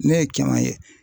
Ne ye caman ye